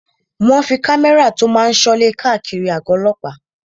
Wọ́n fí àwọn kámẹ́rà tó máa n sọ ilé káàkiri àgọ̀ ọlọ́pàá